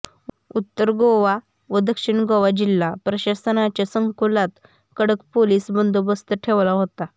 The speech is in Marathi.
उत्तर गोवा व दक्षिण गोवा जिल्हा प्रशासनाच्या संकुलात कडक पोलीस बंदोबस्त ठेवला होता